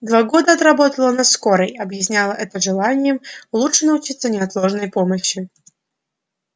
два года отработала на скорой объясняла это желанием лучше научиться неотложной помощи